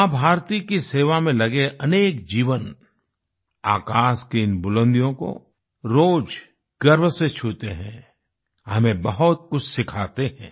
माँ भारती की सेवा में लगे अनेक जीवन आकाश की इन बुलंदियों को रोज़ गर्व से छूते हैं हमें बहुत कुछ सिखाते हैं